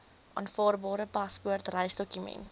aanvaarbare paspoort reisdokument